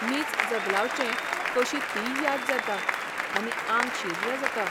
मींच जगलावचें कशी तीय याद जाता आनी आंग शिर्र जाता...